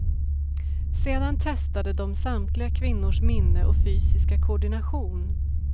Sedan testade de samtliga kvinnors minne och fysiska koordination.